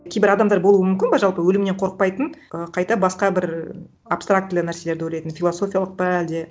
кейбір адамдар болуы мүмкін бе жалпы өлімнен қорықпайтын ы қайта басқа бір абстрактілі нәрселерді ойлайтын философиялық па әлде